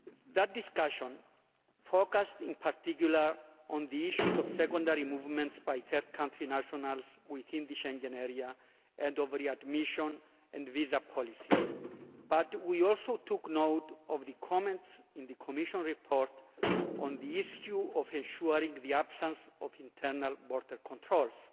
That discussion focused in particular on the issues of secondary movements by third country nationals within the Schengen area and of readmission and visa policy, but we also took note of the comments in the Commission report on the issue of ensuring the absence of internal border controls.